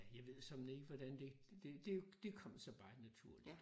Jeg ved såmænd ikke hvordan det det det kom sig bare naturligt